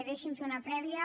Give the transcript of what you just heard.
deixi’m fer una prèvia